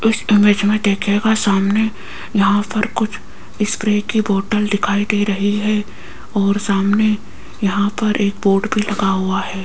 इस इमेज में देखिएगा सामने यहां पर कुछ स्प्रे की बोतल दिखाई दे रही है और सामने यहां पर एक बोर्ड भी लगा हुआ है।